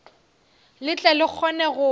le tle le kgone go